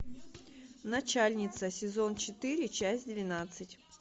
начальница сезон четыре часть двенадцать